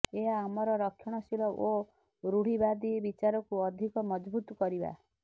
ଏହା ଆମର ରକ୍ଷଣଶୀଳ ଓ ରୁଢିବାଦୀ ବିଚାରକୁ ଅଧିକ ମଜବୁତ କରିବା